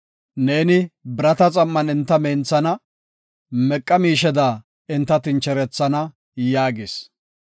Neeni birata xam7an enta menthana; meqa miisheda enta tincherethana” yaagis.